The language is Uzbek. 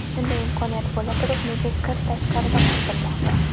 Shunday imkoniyat bo‘laturib, nega kir tashqarida quritilmoqda?